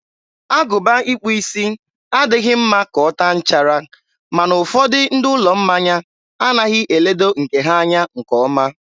agụba ịkpụ isi adịghị mma ka ọ taa nchara, ma na ụfọdụ ndị ụlọ mmanya anaghị eledo nke ha anya nke ọma.